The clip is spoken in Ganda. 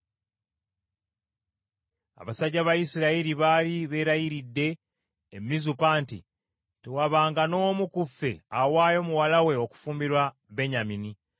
Abasajja ba Isirayiri baali beerayiridde e Mizupa nti, “Tewabanga n’omu ku ffe awaayo muwala we okufumbirwa Benyamini.”